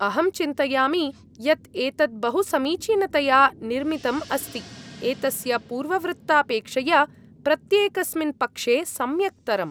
अहं चिन्तयामि यत् एतत् बहुसमीचीनतया निर्मितम् अस्ति, एतस्य पूर्ववृत्तापेक्षया प्रत्येकस्मिन् पक्षे सम्यक्तरम्।